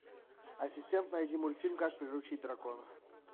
ассистент найди мультфильм как приручить дракона